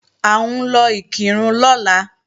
À ń lọ Ìkìrun lọ́la